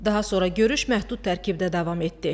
Daha sonra görüş məhdud tərkibdə davam etdi.